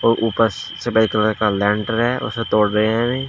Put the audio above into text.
और ऊपर से व्हाइट कलर का लेंटर है उसे तोड़ रहे हैं अभी।